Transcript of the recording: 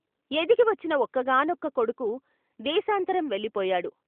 ఎదిగి వచ్చిన ఒక్కగా నొక్క కొడుకు దేశాంతరం వెళ్ళిపో యాడు.